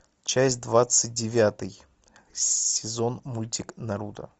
часть двадцать девятый сезон мультик наруто